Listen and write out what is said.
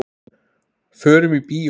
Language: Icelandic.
Förum í bíó.